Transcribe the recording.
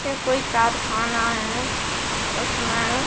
ये कोई कारखाना है उसमे--